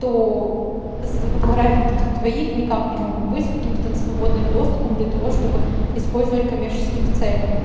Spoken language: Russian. то за фотографии вот этих двоих никак не могут быть каким-то там свободным доступом для того чтобы использовать в коммерческих целях